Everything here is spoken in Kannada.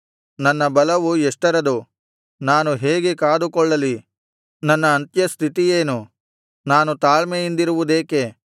ನನ್ನ ಬಲವು ಎಷ್ಟರದು ನಾನು ಹೇಗೆ ಕಾದುಕೊಳ್ಳಲಿ ನನ್ನ ಅಂತ್ಯಸ್ಥಿತಿಯೇನು ನಾನು ತಾಳ್ಮೆಯಿಂದಿರುವುದೇಕೆ